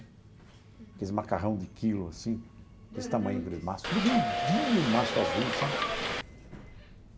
Aqueles macarrão de quilo, assim, desse tamanho, aquele maço, que ele vendia o maço azul, sabe?